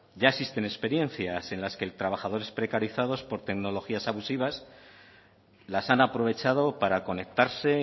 ya existen experiencias en las que trabajadores precarizados por tecnologías abusivas las han aprovechado para conectarse